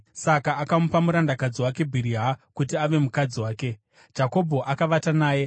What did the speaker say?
Saka akamupa murandakadzi wake Bhiriha kuti ave mukadzi wake. Jakobho akavata naye,